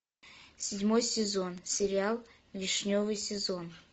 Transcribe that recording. седьмой сезон сериал вишневый сезон